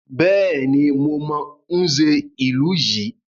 Bẹ́ẹ̀ni, mo mọ Nze ìlú yìí.